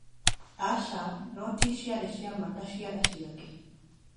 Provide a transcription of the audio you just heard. Aca! Noti ciarĩ ciama ta Ciara ciake.